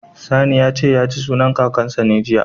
Sani ya ce, ya ci sunan Kakansa ne, jiya.